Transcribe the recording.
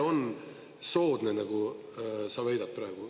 Kui see on soodne, nagu sa väidad praegu.